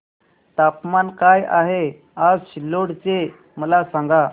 तापमान काय आहे आज सिल्लोड चे मला सांगा